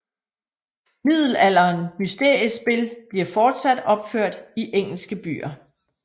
Middelalderen mysteriespil bliver fortsat opført i engelske byer